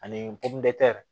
Ani